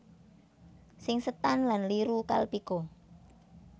Singsetan Lan Liru kalpika